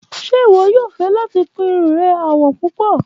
Ṣe iwọ yoo fẹ lati kun irun rẹ àwọ̀ pọ́pù?